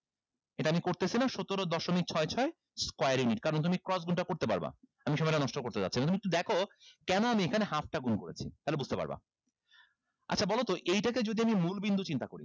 এটা আমি করতেছিনা সতেরো দশমিক ছয় ছয় squarring it কারণ তুমি cross গুনটা করতে পারবা আমি সময়টা নষ্ট করতে চাচ্ছিনা তুমি একটু দেখো কেন আমি এখানে half টা গুন করেছি তাহলে বুঝতে পারবা আচ্ছা বলোতো এইটাকে যদি আমি মূল বিন্দু চিন্তা করি